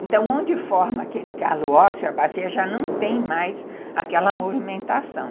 Então, onde forma aquele calo ósseo, a bacia já não tem mais aquela movimentação.